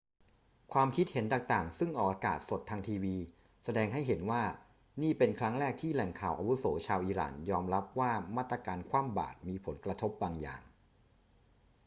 ความคิดเห็นต่าง ๆ ซึ่งออกอากาศสดทางทีวี แสดงให้เห็นว่านี่เป็นครั้งแรกที่แหล่งข่าวอาวุโสชาวอิหร่านยอมรับว่ามาตรการคว่ำบาตรมีผลกระทบบางอย่าง